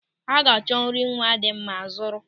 Ọ ga-achọ nri nwa dị mma zụrụ.